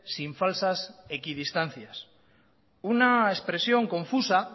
sin falsas equidistancias una expresión confusa